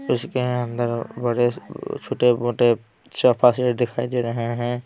इसके अंदर बड़े छोटे-मोटे सफा सेट दिखाई दे रहे हैं।